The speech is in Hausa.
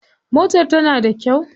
Motar tana da kyau.